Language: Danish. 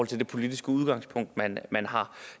til det politiske udgangspunkt man man har